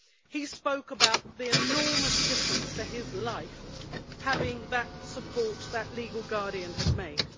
He spoke about the enormous difference to his life that having the support of that legal guardian had made.